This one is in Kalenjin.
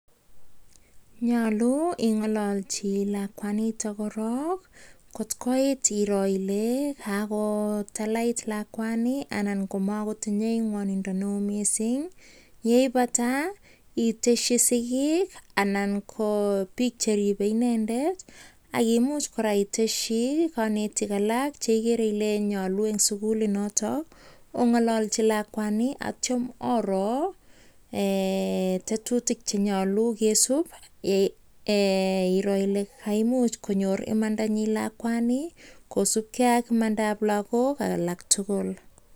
Nyolu ingololchi lakwanito korok kotkoit iron Ile katalait lakwani anan komakotinyei ngwonindo neoo mising yeibata itesi sigik anan ko biik cheribei inendet akiimuch kora iteshi konetik alak chekigere Ile nyolu eng sukulit noto ongololchi lakwani kotyo Oro tetutik chenyolu kesub iron Ile kaimuch konyor imanda nyi lakwani kosubkei ak imanda ab lakok alak tugul